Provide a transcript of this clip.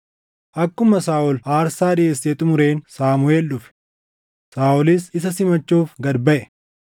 Akkuma Saaʼol aarsaa dhiʼeessee xumureen Saamuʼeel dhufe. Saaʼolis isa simachuuf gad baʼe.